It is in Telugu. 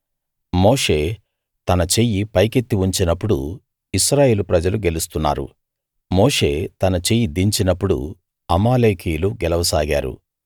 మోషే తన చెయ్యి పైకెత్తి ఉంచినప్పుడు ఇశ్రాయేలు ప్రజలు గెలుస్తున్నారు మోషే తన చెయ్యి దించినప్పుడు అమాలేకీయులు గెలవ సాగారు